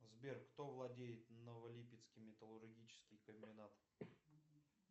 сбер кто владеет новолипецкий металлургический комбинат